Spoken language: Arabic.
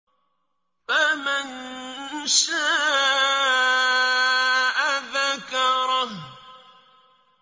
فَمَن شَاءَ ذَكَرَهُ